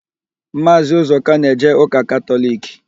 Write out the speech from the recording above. Maazị Ụzọka na-eje ụka Katọliki.